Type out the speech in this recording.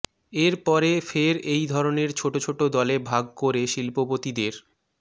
এর পরে ফের এই ধরনের ছোট ছোট দলে ভাগ করে শিল্পপতিদের